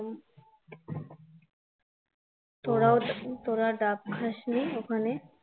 তোরা তোরা ডাব খাসনি ওখানে?